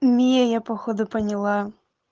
меня походу поняла